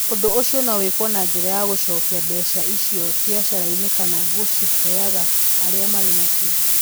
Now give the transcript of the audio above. Ũndũ ũcio no wĩkwo na njĩra ya gũcokia mbeca icio biacara-inĩ kana gũciheaga arĩa marĩ nacio.